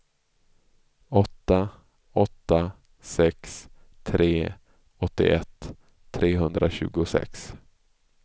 åtta åtta sex tre åttioett trehundratjugosex